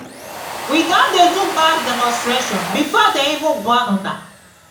we don dey do mass demonstration before dey even born una